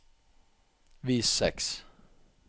vis seks